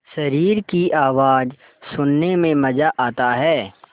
शरीर की आवाज़ सुनने में मज़ा आता है